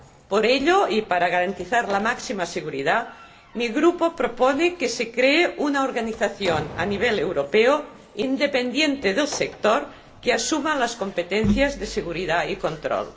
Por ello, y para garantizar la máxima seguridad, mi Grupo propone que se cree una organización a nivel europeo, independiente del sector, que asuma las competencias de seguridad y control.